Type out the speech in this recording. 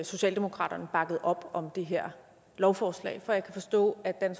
socialdemokratiet bakkede op om det her lovforslag for jeg kan forstå at